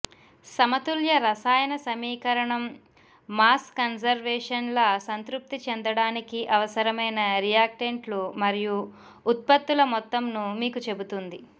సమతుల్య రసాయన సమీకరణం మాస్ కన్జర్వేషన్ లా సంతృప్తి చెందడానికి అవసరమైన రియాక్టెంట్లు మరియు ఉత్పత్తుల మొత్తంను మీకు చెబుతుంది